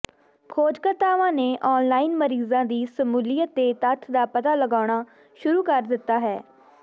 ਖੋਜਕਰਤਾਵਾਂ ਨੇ ਔਨਲਾਈਨ ਮਰੀਜ਼ਾਂ ਦੀ ਸ਼ਮੂਲੀਅਤ ਦੇ ਤੱਥ ਦਾ ਪਤਾ ਲਗਾਉਣਾ ਸ਼ੁਰੂ ਕਰ ਦਿੱਤਾ ਹੈ